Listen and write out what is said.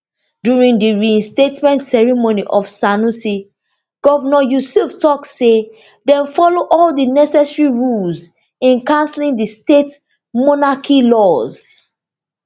during di reinstatement ceremony of sanusi govnor yusuf tok say dem follow all do necessary rules in cancelling di state monarch law